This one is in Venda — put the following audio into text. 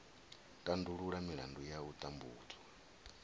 tandulula milandu ya u tambudzwa